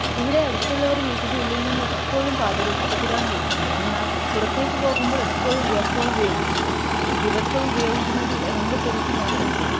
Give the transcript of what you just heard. ഇവിടെ അടുത്തുള്ളവർ വീട്ടിനുള്ളിൽ നിന്നും എപ്പോഴും പാട്ടുകൾ ഉച്ചത്തിൽ ആണ് വെക്കുന്നത് എന്നാൽ പുറത്തെ പോകുമ്പോൾ എപ്പോഴും ഇയർഫോൺ ഉപയോഗിക്കും. ദിവസവും ഉപയോഗിക്കുന്നത് നമ്മളെ ചെവിക്ക് മോശം അല്ലെ